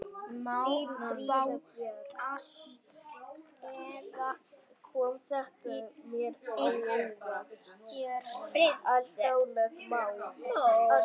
Má fá allt, eða ekkert.